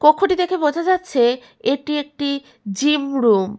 কক্ষ টি দেখে বোঝা যাচ্ছে এটি একটি জিম রুম ।